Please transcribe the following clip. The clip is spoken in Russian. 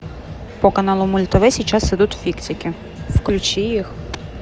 по каналу мульт тв сейчас идут фиксики включи их